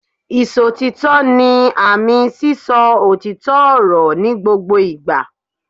Ìsòtítọ́ ni àmì sí sọ òtítọ́ ọ̀rọ̀ ní gbogbo ìgbà